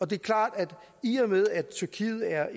det er klart at i og med at tyrkiet er